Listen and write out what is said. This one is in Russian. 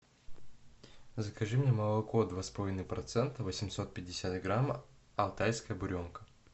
закажи мне молоко два с половиной процента восемьсот пятьдесят грамм алтайская буренка